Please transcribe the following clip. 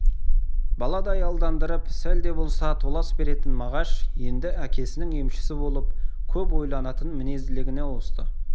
баладай алдандырып сәл де болса толас беретін мағаш енді әкесінің емшісі болып көп ойланатын мінезділігіне ауысты